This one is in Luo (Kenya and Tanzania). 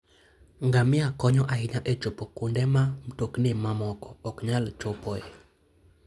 Ngamia konyo ahinya e chopo kuonde ma mtokni mamoko ok nyal chopoe.